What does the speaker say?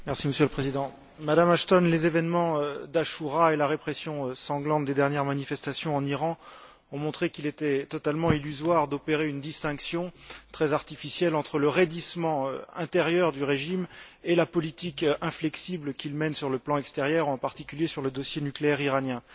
Monsieur le Président, Madame Ashton, les événements d'Achoura et la répression sanglante des dernières manifestations en Iran ont montré qu'il était totalement illusoire d'opérer une distinction très artificielle entre le raidissement intérieur du régime et la politique inflexible qu'il mène sur le plan extérieur, en particulier sur le dossier nucléaire iranien.